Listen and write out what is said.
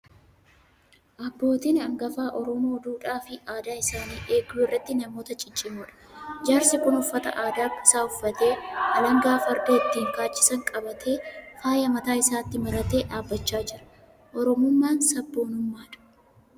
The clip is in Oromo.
Abbootiin hangafaa Oromoo duudhaa fi aadaa isaanii eeguu irratti namoota ciccimoodha. Jaarsi kun uffata aadaa isaa uffatee, alangaa farda ittiin kaachisan qabtee, faaya mataa isaatti maratee dhaabachaa jira. Oromummaan sabboonummaadha.